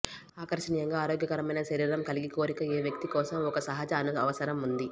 ఆకర్షణీయంగా ఆరోగ్యకరమైన శరీరం కలిగి కోరిక ఏ వ్యక్తి కోసం ఒక సహజ అవసరం ఉంది